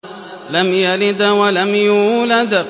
لَمْ يَلِدْ وَلَمْ يُولَدْ